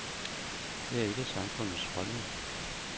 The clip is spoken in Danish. Det er ikke samfundets holdning.